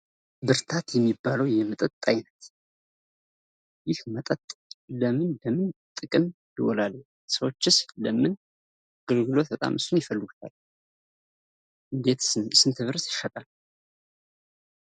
ብርታት የሚባለው የመጠጥ አይነት ይህ መጠጥ ለምን ለምን ጥቅም ይውላል? ሰዎችስ ለምን አገልግሎት በጣም እሱን ይፈልጉታል? ስንት ብርስ ይሸጣል?